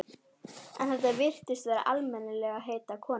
En þetta virtist vera almennilegheita kona.